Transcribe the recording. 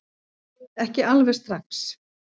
Ekki alveg strax